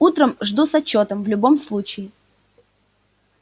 утром жду с отчётом в любом случае